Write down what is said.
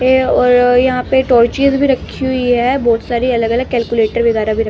है और यहां पे टॉर्चेज भी रखी हुई है बहोत सारी अलग अलग कैलकुलेटर वगैरा भी--